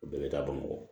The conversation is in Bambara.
U bɛɛ bɛ taa bamakɔ